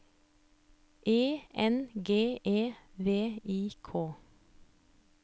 E N G E V I K